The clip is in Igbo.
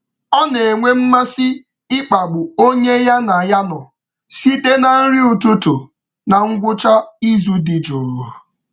Ọ na-enwe mmasị um ịkpagbu onye ya na ya nọ site site na um nri ụtụtụ na ngwụcha izu dị jụụ.